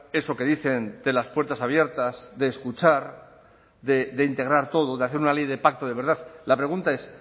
eso que dicen de las puertas abiertas de escuchar de integrar todo de hacer una ley de pacto de verdad la pregunta es